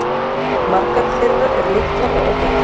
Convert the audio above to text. Margar þeirra eru litlar og óbyggðar